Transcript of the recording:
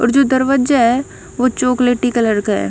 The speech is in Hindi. और जो दरवाजा हैं वो चॉकलेटी कलर का--